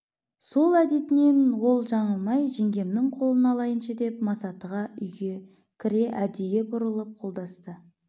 сол әдетінен ол жаңылмай жеңгемнің қолын алайыншы деп масатыға үйге кіре әдейі бұрылып қолдасты